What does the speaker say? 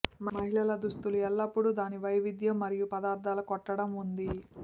మహిళల దుస్తులు ఎల్లప్పుడూ దాని వైవిధ్యం మరియు పదార్థాలు కొట్టడం ఉంది